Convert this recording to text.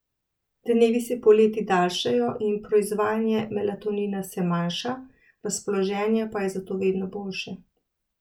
Dnevi se poleti daljšajo in proizvajanje melatonina se manjša, razpoloženje pa je zato vedno boljše.